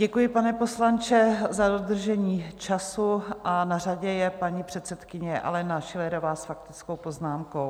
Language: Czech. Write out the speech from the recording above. Děkuji, pane poslanče, za dodržení času a na řadě je paní předsedkyně Alena Schillerová s faktickou poznámkou.